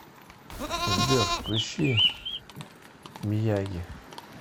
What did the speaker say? сбер включи мияги